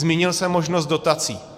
Zmínil jsem možnost dotací.